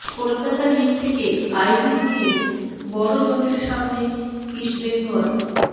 Kolkata league থেকে I league নিয়ে বড় জটের সামনে ইস্টবেঙ্গল